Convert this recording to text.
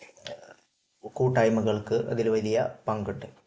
കൂട്ടായ്മകൾക്ക് അതിൽ വലിയ പങ്കുണ്ട്